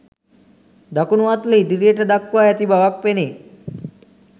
දකුණු අත්ල ඉදිරියට දක්වා ඇති බවක් පෙනේ.